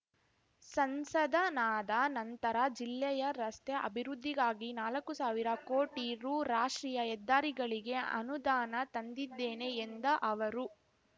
ಸಂಸದನಾದ ನಂತರ ಜಿಲ್ಲೆಯ ರಸ್ತೆ ಅಭಿವೃದ್ದಿಗಾಗಿ ನಾಲಕ್ಕು ಸಾವಿರ ಕೋಟಿ ರೂ ರಾಷ್ಟ್ರೀಯ ಹೆದ್ದಾರಿಗಳಿಗೆ ಅನುದಾನ ತಂದಿದ್ದೇನೆ ಎಂದ ಅವರು